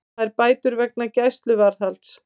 Fær bætur vegna gæsluvarðhalds